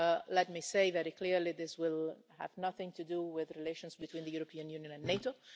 Let me say very clearly this will have nothing to do with relations between the European Union and NATO